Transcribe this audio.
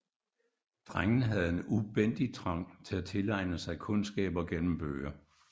Drengen havde en ubændig trang til at tilegne sig kundskab gennem bøger